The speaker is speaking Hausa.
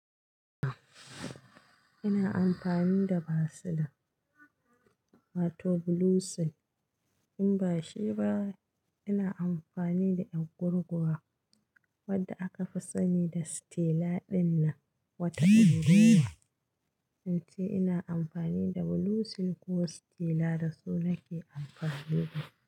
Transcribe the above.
Ina amfani da vaseline ko to bluesil. In bashi ba, ina amfani da ƴan gurguwa wadda aka fi sani da Stella ɗinnan wata unguluwa. Fanti ina amfani da bluesin ko Stella da su nake amfani da.